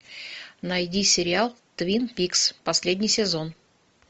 найди сериал твин пикс последний сезон